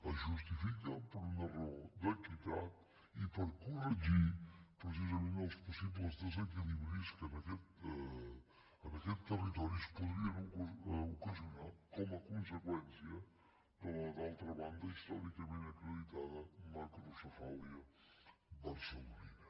es justifica per una raó d’equitat i per corregir precisament els possibles desequilibris que en aquest territori es podrien ocasionar com a conseqüència de la d’altra banda històricament acreditada macrocefàlia barcelonina